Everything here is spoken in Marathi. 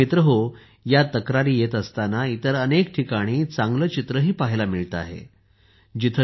पण मित्रहो या तक्रारी येत असताना इतर अनेक ठिकाणी चांगले चित्रही पाहायला मिळते आहे